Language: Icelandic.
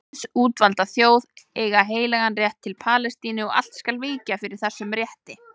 Guðs útvalda þjóð eigi heilagan rétt til Palestínu og allt skal víkja fyrir þessum rétti.